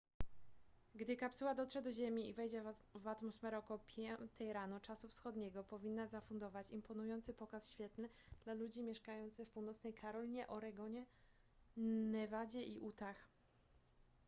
gdy kapsuła dotrze do ziemi i wejdzie w atmosferę około 5 rano czasu wschodniego powinna zafundować imponujący pokaz świetlny dla ludzi mieszkających w północnej karolinie oregonie nevadzie i utah